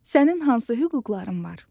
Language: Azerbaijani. Sənin hansı hüquqların var?